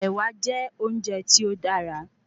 Ẹ̀wà jẹ́ óúnje tí ó dára